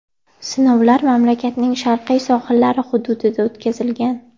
Sinovlar mamlakatning sharqiy sohillari hududida o‘tkazilgan.